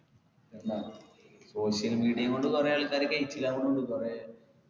ന്ത social media കൊണ്ട് കൊറേ ആൾക്കാരൊക്കെ കൈച്ചലാകുന്നുണ്ട് കൊറേ